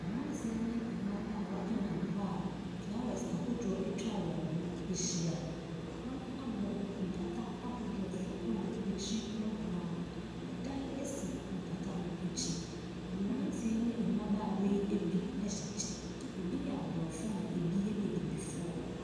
Mmranteɛ ne mmaabawa ɛnam hɔ a flawɛs ahodoɔ etwa wɔn ho ahyia. Wɔn abɔ mpata ahodoɔ so ɛwɔ akyi nohoaa. Ɛdan esi mpata no akyi. Mmranteɛ yi ne mmaabawa yi ebi ɛhyɛ kyɛ. Ebi yɛ abrɔfo na ebi yɛ abibifoɔ.